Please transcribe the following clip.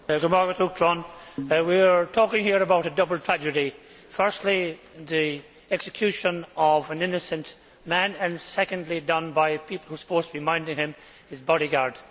Mr President, we are talking here about a double tragedy firstly, the execution of an innocent man and, secondly, done by someone who was supposed to be minding him, his bodyguard.